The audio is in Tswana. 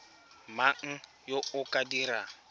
mang yo o ka dirang